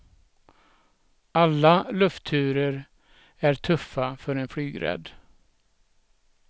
Alla luftturer är tuffa för en flygrädd.